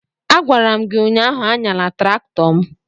a gwara m gi ụnyahụ, anyala traktọ m!